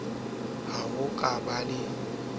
ho ho ka ba le